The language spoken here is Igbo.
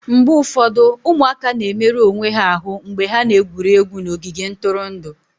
mgbe ụfọdụ ụmụaka na-emerụ onwe ha ahụ mgbe ha na-egwuri egwu n'ogige ntụrụndụ